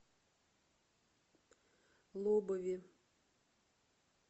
лобове